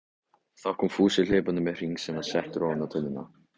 Þá kom Fúsi hlaupandi með hring sem var settur ofan á tunnuna.